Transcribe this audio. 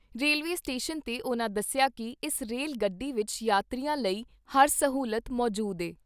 Railway station 'ਤੇ ਉਨ੍ਹਾਂ ਦੱਸਿਆ ਕਿ ਇਸ ਰੇਲ ਗੱਡੀ ਵਿਚ ਯਾਤਰੀਆਂ ਲਈ ਹਰ ਸਹੂਲਤ ਮੌਜੂਦ ਏ।